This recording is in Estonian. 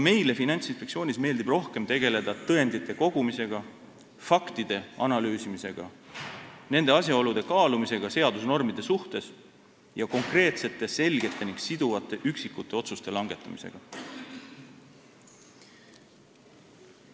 Meile Finantsinspektsioonis meeldib rohkem tegelda tõendite kogumisega, faktide analüüsimisega, nende asjaolude kaalumisega seadusnormide suhtes ning konkreetsete, selgete ja siduvate üksikute otsuste langetamisega.